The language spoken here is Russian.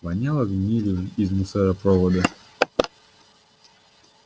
воняло гнилью из мусоропровода